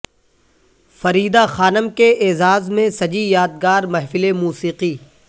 فریدہ خانم کے اعزاز میں سجی یادگار محفل موسیقی